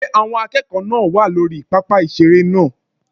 Ṣé àwọn akẹ́kọ̀ọ́ náà wà lórí pápá ìseré náà?